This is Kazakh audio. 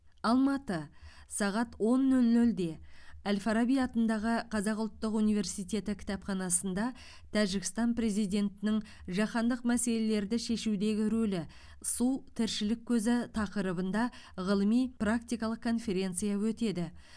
алматы сағат он нөл нөлде әл фараби атындағы қазақ ұлттық университеті кітапханасында тәжікстан президентінің жаһандық мәселелерді шешудегі рөлі су тіршілік көзі тақырыбында ғылыми практикалық конференция өтеді